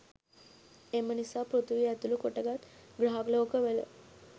එමනිසා පෘථිවිය ඇතුළු කොටගත් ග්‍රහලෝකවල